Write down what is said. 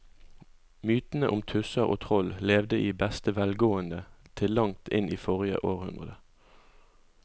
Mytene om tusser og troll levde i beste velgående til langt inn i forrige århundre.